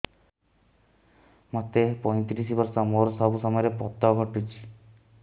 ମୋତେ ପଇଂତିରିଶ ବର୍ଷ ମୋର ସବୁ ସମୟରେ ପତ ଘଟୁଛି